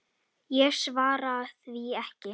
Ég svara því ekki.